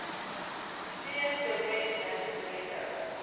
si ya steroid non steroidal